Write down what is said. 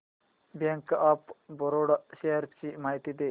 bank of Baroda shares ची माहिती दे